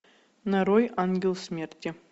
нарой ангел смерти